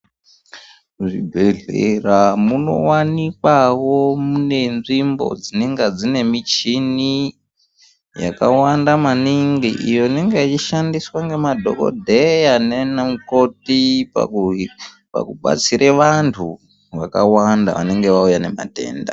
Muzvibhedhlera munowanikwawo mune nzvimbo dzinenge dzine michini yakawanda maningi iyo inenge ichishandiswa ngemadhokodheya nanamukoti pakubatsira vantu vakawanda vanenge vauya nematenda.